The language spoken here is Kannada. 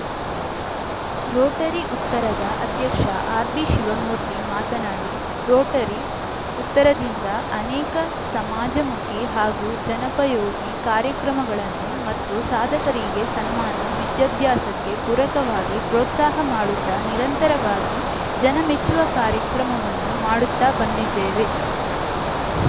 ರೋಟರಿ ಉತ್ತರದ ಅಧ್ಯಕ್ಷ ಆರ್‌ಬಿಶಿವಮೂರ್ತಿ ಮಾತನಾಡಿ ರೋಟರಿ ಉತ್ತರದಿಂದ ಅನೇಕ ಸಮಾಜಮುಖಿ ಹಾಗೂ ಜನಪಯೋಗಿ ಕಾರ್ಯಕ್ರಮಗಳನ್ನು ಮತ್ತು ಸಾಧಕರಿಗೆ ಸನ್ಮಾನ ವಿದ್ಯಾಭ್ಯಾಸಕ್ಕೆ ಪೂರಕವಾಗಿ ಪ್ರೋತ್ಸಾಹ ಮಾಡುತ್ತಾ ನಿರಂತರವಾಗಿ ಜನ ಮೆಚ್ಚುವ ಕಾರ್ಯಕ್ರಮವನ್ನು ಮಾಡುತ್ತಾ ಬಂದಿದ್ದೇವೆ